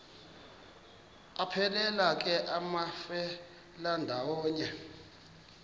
aphelela ke amafelandawonye